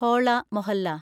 Hola Mohalla